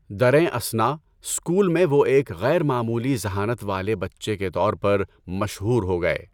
دریں اثنا، اسکول میں وہ ایک غیر معمولی ذہانت والے بچّے کے طور پر مشہور ہو گئے۔